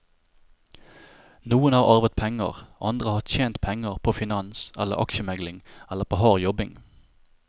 Noen har arvet penger, andre har tjent penger på finans eller aksjemegling eller på hard jobbing.